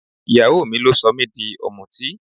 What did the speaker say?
Ìyàwó mi ló sọ mí di ọmútí.